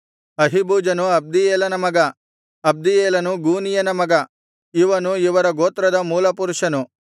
ಅಹೀಬೂಜನು ಅಬ್ದೀಯೇಲನ ಮಗ ಅಬ್ದೀಯೇಲನು ಗೂನೀಯನ ಮಗ ಇವನು ಇವರ ಗೋತ್ರದ ಮೂಲಪುರುಷನು